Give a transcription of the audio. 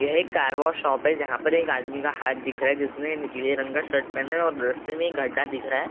ये एक car wash shop है जहाँ पर एक आदमी का हाथ दिख रहा है जिसमे नीले रंग का शर्ट पहना और रास्ते में एक घड़ा दिख रहा है।